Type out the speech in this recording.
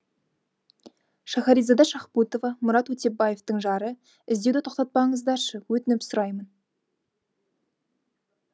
шахаризада шахбутова мұрат өтепбаевтың жары іздеуді тоқтатпаңыздаршы өтініп сұраймын